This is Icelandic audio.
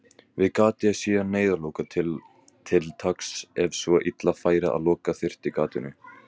Við gatið er síðan neyðarloka til taks ef svo illa færi að loka þyrfti gatinu.